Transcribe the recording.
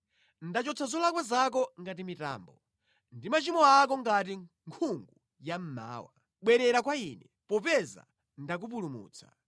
Ndachotsa zolakwa zako ngati mitambo, ndi machimo ako ngati nkhungu ya mmawa. Bwerera kwa Ine, popeza ndakupulumutsa.”